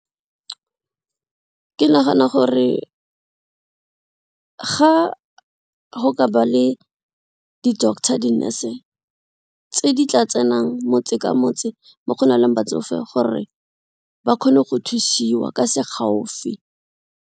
Ke nagana gore, ga go ka ba le di-doctor, di-nurse tse di tla tsenang motse ka motse mo go nang le batsofe gore ba kgone go thusiwa ka se gaufi.